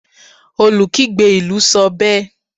olukigbe ilú sọ bẹẹ